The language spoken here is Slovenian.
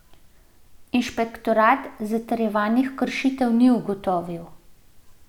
Inšpektorat zatrjevanih kršitev ni ugotovil.